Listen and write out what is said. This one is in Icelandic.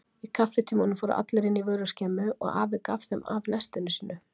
Í kaffitímanum fóru allir inn í vöruskemmu og afi gaf þeim af nestinu sínu.